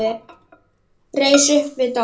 Reis upp við dogg.